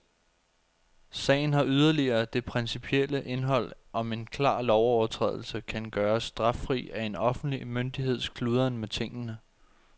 Sagen har yderligere det principielle indhold, om en klar lovovertrædelse kan gøres straffri af en offentlig myndigheds kludren med tingene.